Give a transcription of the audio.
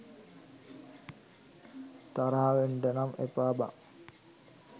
තරහ වෙන්ඩනම් එපා බන්